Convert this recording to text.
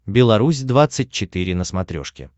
беларусь двадцать четыре на смотрешке